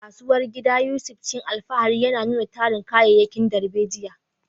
A kasuwar gida, Yusuf cikin alfahari ya nuna tarin kayayyakin darbejiya.